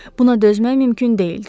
Buna dözmək mümkün deyildi.